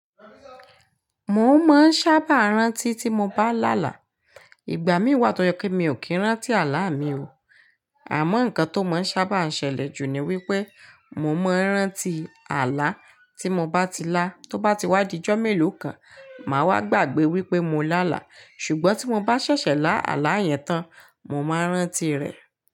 Mò ń mọo ṣábà rántí tí mo bá lálà. Ìgbà mii wà tọ́ yẹ kí mi ò kì n rántí àlà mi o. Àmọ́ nǹkan tó mọ̀ ń sábà n ṣẹlẹ̀ jù ni wí pé, mò ń maa n rántí àlá tí mo bá ti lá, tó bá ti wá dijó mélòó kan, màa wá gbàgbé wípé mo lálà. Sùgbọ́n tí mo bá ṣẹṣẹ lá àlà yẹn tán, mò maa n rántí rẹ̀.